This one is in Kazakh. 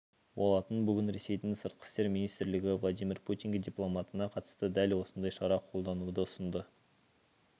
болатын бүгін ресейдің сыртқы істер министрлігі владимир путинге дипломатына қатысты дәл осындай шара қолдануды ұсынды